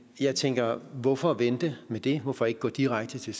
jeg tænker hvorfor vente med det hvorfor ikke gå direkte til